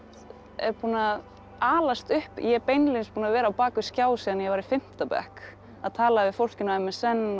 er búinn að alast upp ég er beinlínis búin að vera á bak við skjá síðan ég var í fimmta bekk að tala við fólk inn á m s n og